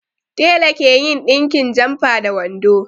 Tela ke yin ɗinkin jamfa da wando